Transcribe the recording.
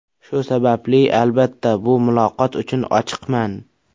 Shu sababli, albatta, bu muloqot uchun ochiqman.